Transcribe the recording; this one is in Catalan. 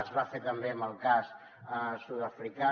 es va fer també en el cas sud africà